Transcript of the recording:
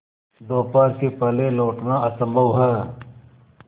दोपहर के पहले लौटना असंभव है